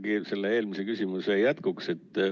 Ikkagi selle eelmise küsimuse jätkuks.